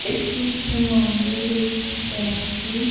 इस चित्र में हम ये देख सकते है कि--